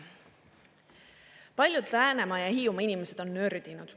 Paljud Läänemaa ja Hiiumaa inimesed on nördinud.